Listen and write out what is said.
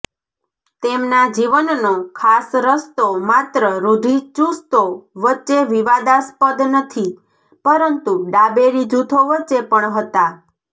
તેમના જીવનનો ખાસ રસ્તો માત્ર રૂઢિચુસ્તો વચ્ચે વિવાદાસ્પદ નથી પરંતુ ડાબેરી જૂથો વચ્ચે પણ હતા